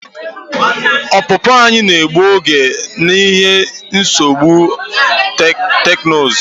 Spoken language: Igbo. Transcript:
Ọpụpụ anyị na-egbu oge n'ihi nsogbu teknụzụ.